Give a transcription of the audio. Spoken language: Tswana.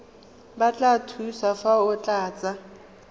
batla thuso fa o tlatsa